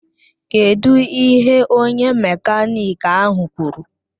Kedụ ihe onye mekaniki ahụ kwuru?